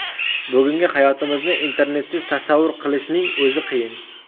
Bugungi hayotimizni Internetsiz tasavvur qilishning o‘zi qiyin.